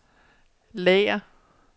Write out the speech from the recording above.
lager